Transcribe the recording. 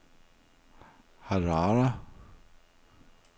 Harare